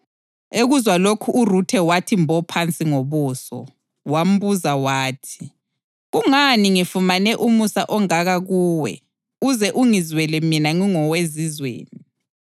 Ekuzwa lokhu uRuthe wathi mbo phansi ngobuso, wambuza wathi, “Kungani ngifumane umusa ongaka kuwe uze ungizwele mina ngingowezizweni?”